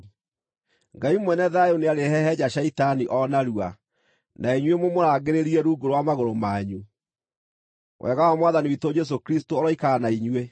Ngai mwene thayũ nĩarĩhehenja Shaitani o narua, na inyuĩ mũmũrangĩrĩrie rungu rwa magũrũ manyu. Wega wa Mwathani witũ Jesũ Kristũ ũroikara na inyuĩ.